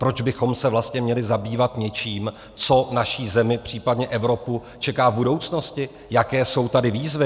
Proč bychom se vlastně měli zabývat něčím, co naši zemi, případně Evropu, čeká v budoucnosti, jaké jsou tady výzvy?